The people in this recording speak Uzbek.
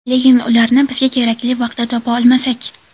Lekin ularni bizga kerakli vaqtda topa olmasak?